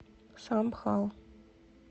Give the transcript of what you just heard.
самбхал